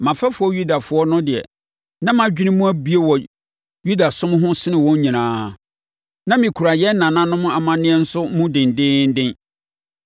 Mʼafɛfoɔ Yudafoɔ no deɛ, na mʼadwene mu abue wɔ Yudasom ho sene wɔn nyinaa. Na mekura yɛn nananom amanneɛ nso mu dendeenden.